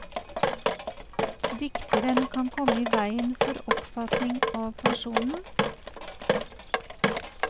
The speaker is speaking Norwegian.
Dikteren kan komme i veien for oppfatningen av personen.